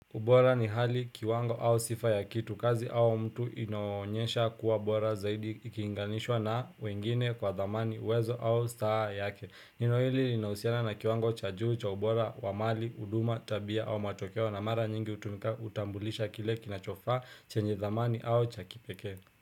Ubora ni hali kiwango au sifa ya kitu kazi au mtu inayo onyesha kuwa bora zaidi ikilinganishwa na wengine kwa dhamani wezo au star yake. Neno hili linausiana na kiwango cha juu cha ubora wa mali, huduma, tabia au matokeo na mara nyingi hutumika kutumbulisha kile kinachofa chenye dhamani au cha kipeke.